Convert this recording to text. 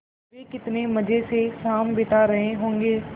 वे कितने मज़े से शाम बिता रहे होंगे